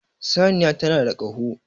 Saniya tana da Kaho